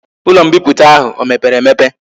Ulo mbiputa ahu o mepere emepe?